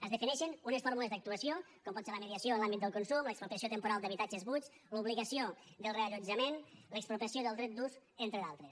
es defineixen unes fórmules d’actuació com poden ser la mediació en l’àmbit del consum l’expropiació temporal d’habitatges buits l’obligació del reallotjament l’expropiació del dret d’ús entre d’altres